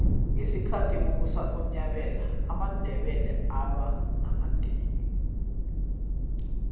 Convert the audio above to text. ngesikhathi kubusa unyabela amandebele alwa namadika